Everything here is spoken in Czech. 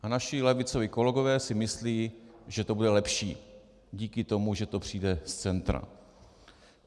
A naši levicoví kolegové si myslí, že to bude lepší díky tomu, že to přijde z centra.